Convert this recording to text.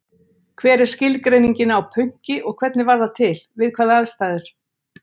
Hver er skilgreiningin á pönki og hvernig varð það til, við hvaða aðstæður?